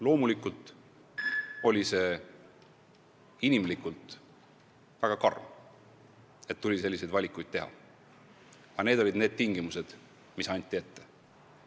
Loomulikult oli see inimlikult väga karm, et tuli selliseid valikuid teha, aga need olid tingimused, mis ette anti.